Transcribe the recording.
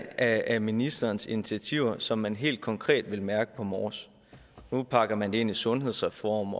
af ministerens initiativer er det som man helt konkret vil mærke på mors nu pakker man det ind i sundhedsreform